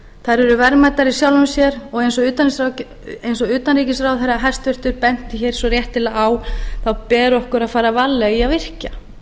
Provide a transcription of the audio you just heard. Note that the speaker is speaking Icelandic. þær eru verðmætar í sjálfu sér og eins og utanríkisráðherra hæstvirtur benti hér svo réttilega á þá ber okkur að fara varlega í að virkja